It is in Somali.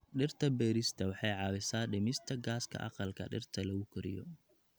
Dhirta beerista waxay caawisaa dhimista gaaska aqalka dhirta lagu koriyo.